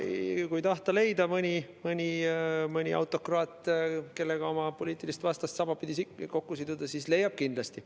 Kui tahta leida mõnda autokraati, kellega oma poliitilist vastast sabapidi kokku siduda, siis leiab kindlasti.